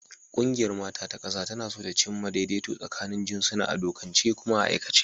Ƙungiyar mata ta ƙasa tana so ta cimma daidaito tsakanin jinsuna a dokance kuma a aikace.